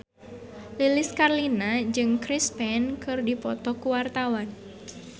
Lilis Karlina jeung Chris Pane keur dipoto ku wartawan